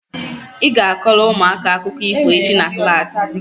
ị ga- akọrọ ụmụaka akụkọ ifo echi na klaasị